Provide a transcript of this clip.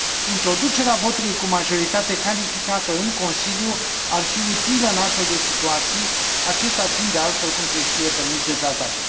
Introducerea votului cu majoritate calificată în Consiliu ar fi utilă în astfel de situații, acesta fiind, de altfel, cum se știe, permis de tratate.